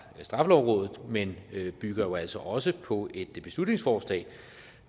straffelovrådet men bygger jo altså også på et beslutningsforslag